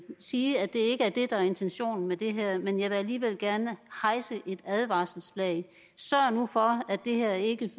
sige at det ikke er det der er intentionen med det her men jeg vil alligevel gerne hejse et advarselsflag sørg nu for at det her ikke